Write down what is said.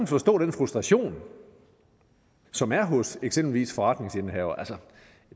forstå den frustration som er hos eksempelvis forretningsindehavere altså